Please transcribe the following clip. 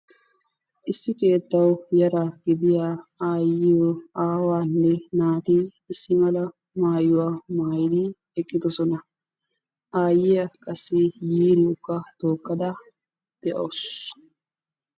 Issi keettawu yara gidiyaa aayyiyo, aawaanne naati issi mala maayyuwa maayyidi eqqidoosona. Aayyiya qassi yiiriyoka tookkada de'awusu.